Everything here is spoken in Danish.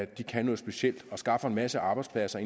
de kan noget specielt og skaffer en masse arbejdspladser